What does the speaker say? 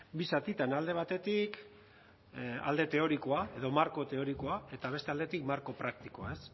bi zatitan alde batetik alde teorikoa edo marko teorikoa eta beste aldetik marko praktikoa ez